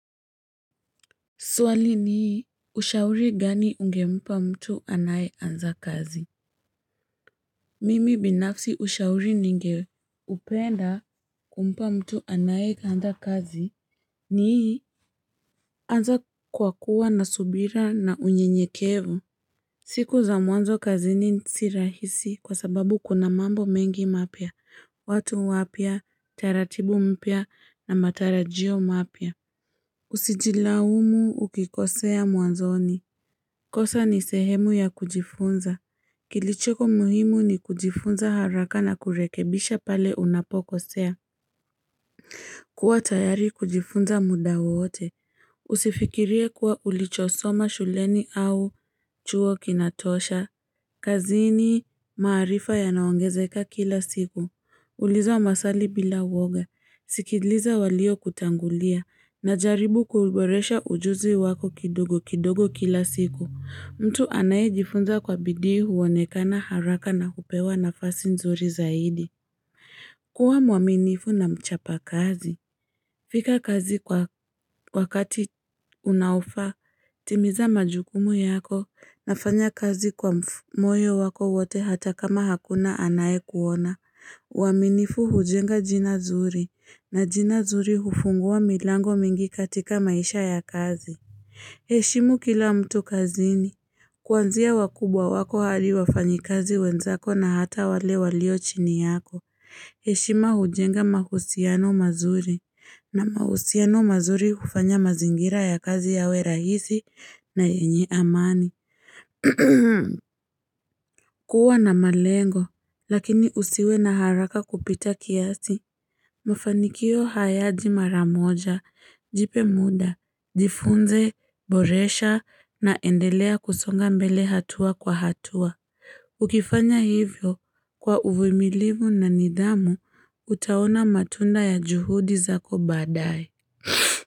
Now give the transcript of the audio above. Swali ni, ushauri gani ungempa mtu anayeanza kazi? Mimi binafsi, ushauri ningeupenda kumpa mtu anayeanza kazi. Ni, anza kwa kuwa na subira na unyenyekevu. Siku za mwanzo kazini si rahisi, kwa sababu kuna mambo mengi mapya, watu wapya, taratibu mpya na matarajio mapya. Usijilaumu ukikosea mwanzoni. Kosa ni sehemu ya kujifunza. Kilichoko muhimu ni kujifunza haraka na kurekebisha pale unapokosea. Kuwa tayari kujifunza muda wowote. Usifikirie kuwa ulichosoma shuleni au chuo kinatosha. Kazini, maarifa yanaongezeka kila siku. Uliza maswali bila uwoga. Sikiliza waliokutangulia. Na jaribu kuboresha ujuzi wako kidogo kidogo kila siku. Mtu anayejifunza kwa bidii huonekana haraka, na hupewa nafasi nzuri zaidi. Kuwa mwaminifu na mchapa kazi. Fika kazi kwa wakati unaofaa, timiza majukumu yako na fanya kazi kwa mfu moyo wako wote hata kama hakuna anayekuona. Uaminifu hujenga jina zuri, na jina zuri hufungua milango mingi katika maisha ya kazi. Heshimu kila mtu kazini. Kuanzia wakubwa wako, hadi wafanyikazi wenzako, na hata wale walio chini yako. Heshima hujenga mahusiano mazuri. Na mahusiano mazuri hufanya mazingira ya kazi yawe rahisi na yenye amani. Kuwa na malengo. Lakini usiwe na haraka kupita kiasi. Mufanikio hayaji mara moja, jipe muda, jifunze, boresha na endelea kusonga mbele hatua kwa hatua. Ukifanya hivyo kwa uvimilivu na nidhamu, utaona matunda ya juhudi zako baadaye.